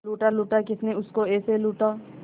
लूटा लूटा किसने उसको ऐसे लूटा